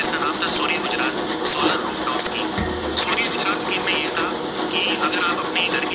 सूर्य Gujarat scheme में ये था की अगर आप अपने घर की